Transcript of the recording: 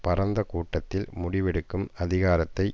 பரந்த கூட்டத்தில் முடிவெடுக்கும் அதிகாரத்தை